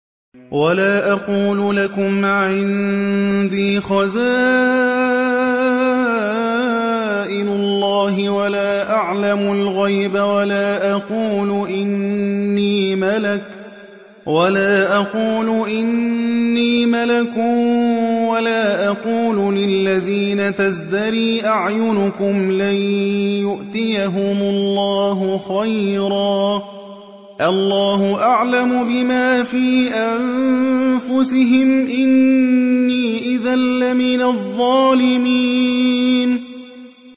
وَلَا أَقُولُ لَكُمْ عِندِي خَزَائِنُ اللَّهِ وَلَا أَعْلَمُ الْغَيْبَ وَلَا أَقُولُ إِنِّي مَلَكٌ وَلَا أَقُولُ لِلَّذِينَ تَزْدَرِي أَعْيُنُكُمْ لَن يُؤْتِيَهُمُ اللَّهُ خَيْرًا ۖ اللَّهُ أَعْلَمُ بِمَا فِي أَنفُسِهِمْ ۖ إِنِّي إِذًا لَّمِنَ الظَّالِمِينَ